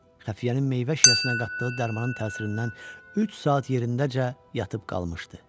Xəfiyyənin meyvə şirəsinə qatdığı dərmanın təsirindən üç saat yerindəcə yatıb qalmışdı.